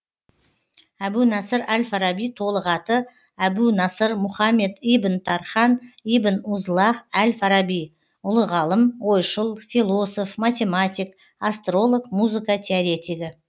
әбу насыр әл фараби толық аты әбу насыр мұхаммед ибн тархан ибн узлағ әл фараби ұлы ғалым ойшыл философ математик астролог музыка теоретигі